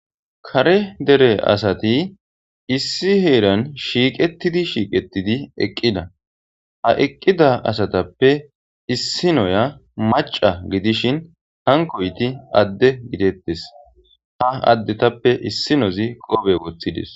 kare dere asati issi heeran shiiqettidi shiiqettidi eqqida ha eqqida asatappe issi noya maca gidishin hankoyti adde gidettis ha adde tappe issinozi qobe woththidis